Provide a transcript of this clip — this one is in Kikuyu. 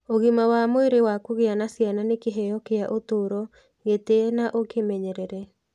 Ũgima wa mwĩrĩ wa kũgĩa na ciana nĩ kĩheo kĩa ũtũũro, gĩtĩe na ũkimenyerere.